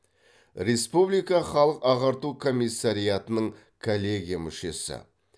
республика халық ағарту комиссариатының коллегия мүшесі